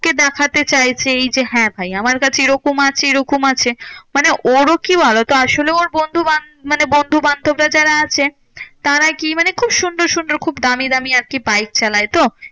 কে দেখাতে চাইছে এই যে, হ্যাঁ ভাই আমার কাছে এরকম আছে এরকম আছে। মানে ওরও কি আসলে ওর বন্ধু বান্ধব মানে বন্ধুবান্ধবরা যারা আছে তারাই কি মানে খুব সুন্দর সুন্দর দামি দামি আরকি বাইক চালায় তো?